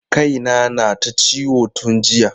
Kai na na ta ciwo tun jiya.